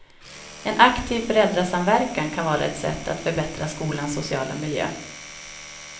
En aktiv föräldrasamverkan kan vara ett sätt att förbättra skolans sociala miljö.